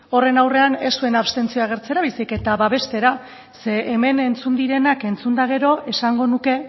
horren aurrean ez zuen abstentzioa agertzera baizik eta babestera zeren hemen entzun direnak entzun eta gero esango nuke